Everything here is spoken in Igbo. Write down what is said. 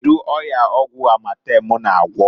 Kedu ọya ọgwụ Amatem na-agwọ?